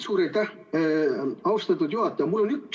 Suur aitäh, austatud juhataja!